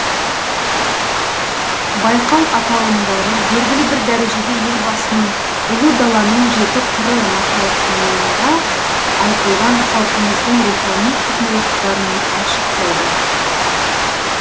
байқау аталымдары белгілі бір дәрежеде елбасының ұлы даланың жеті қыры мақаласында айтылған халқымыздың рухани құндылықтарын айшықтайды